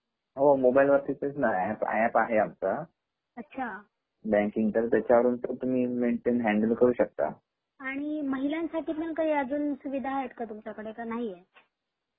mobile तेच न app आहे आमच अच्छा बँक इंटर त्याच्या वरून ते तुम्ही मेंटेन हँडल करू शकता आणि महिलांसाठी पण काही अजून सुवीधा आहेत का तुमच्याकडे का नाहि आहेत